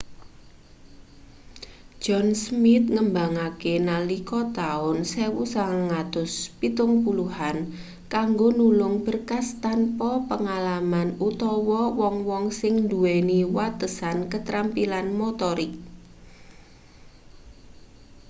john smith ngembangke nalika taun 1970an kanggo nulung berkas tanpa pengalaman utawa wong-wong sing nduweni watesan katrampilan motorik